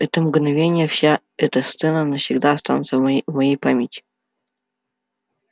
это мгновение вся эта сцена навсегда останутся в её памяти